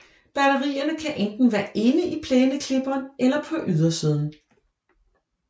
Batterierne kan enten være inde i plæneklipperen eller på ydersiden